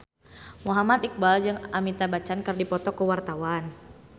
Muhammad Iqbal jeung Amitabh Bachchan keur dipoto ku wartawan